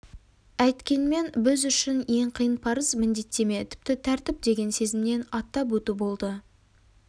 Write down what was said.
әйткенмен біз үшін ең қиын парыз міндеттеме тіпті тәртіп деген сезімнен аттап өту болды